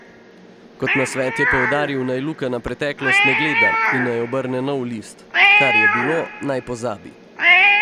Kot nasvet je poudaril, naj Luka na preteklost ne gleda in naj obrne nov list: "Kar je bilo, naj pozabi.